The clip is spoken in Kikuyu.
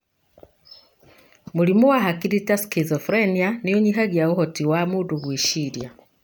Mũrimũ wa hakiri ta schizophrenia nĩũnyihagia ũhoti wa mundu gwĩciria.